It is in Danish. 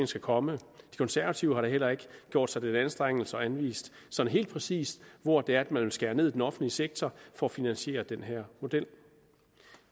skal komme de konservative har da heller ikke gjort sig den anstrengelse at anvise sådan helt præcis hvor det er at man vil skære ned i den offentlige sektor for at finansiere den her model